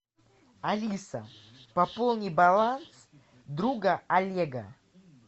алиса пополни баланс друга олега